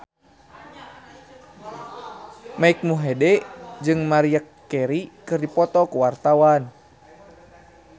Mike Mohede jeung Maria Carey keur dipoto ku wartawan